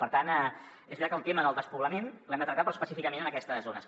per tant és veritat que el tema del despoblament l’hem de tractar però específicament en aquestes zones